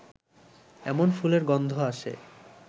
এমন ফুলের গন্ধ আসে